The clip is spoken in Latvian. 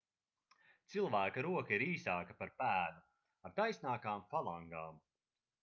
cilvēka roka ir īsāka par pēdu ar taisnākām falangām